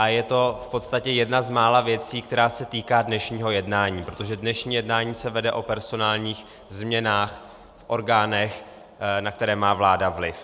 A je to v podstatě jedna z mála věcí, která se týká dnešního jednání, protože dnešní jednání se vede o personálních změnách v orgánech, na které má vláda vliv.